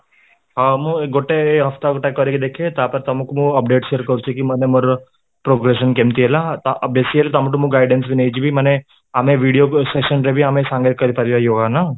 ହଁ, ମୁଁ ଏଇ ଗୋଟେ ଗୋଟେ କରିକି ଦେଖେ, ତାପରେ ତମକୁ ମୁଁ update share କରୁଛି କି ମାନେ ମୋର progression କେମିତି ହେଲା, ତ ଆଉ ବେଶୀ ହେଲେ ତମଠୁ ମୁଁ guidance ବି ନେଇଯିବି ମାନେ ଆମେ ଭିଡ଼ିଓକୁ session ରେ ବି ସାମିଲ କରିପାରିବା ନା